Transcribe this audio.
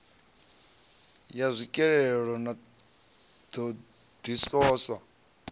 ya tswikelelo na ṱho ḓisiso